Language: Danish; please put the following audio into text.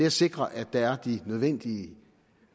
at sikre at der er de nødvendige